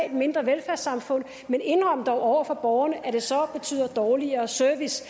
et mindre velfærdssamfund men indrøm dog over for borgerne at det så betyder dårligere service